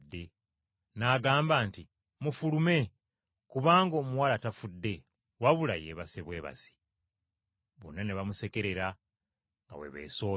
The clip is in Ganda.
n’agamba nti, “Mufulume kubanga omuwala tafudde wabula yeebase bwebasi.” Bonna ne bamusekerera nga bwe beesooza.